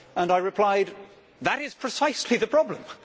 I replied, That is precisely the problem'.